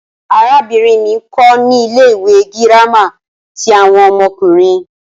Arabinrin mi nkọ ni ile-iwe girama ti awọn ọmọkunrin